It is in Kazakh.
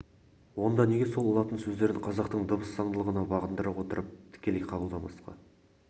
онда неге сол латын сөздерін қазақтың дыбыс заңдылығына бағындыра отырып тікелей қабылдамасқа